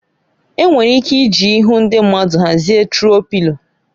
Enwere ike iji ihu ndị mmadụ hazie turuọ Pịlo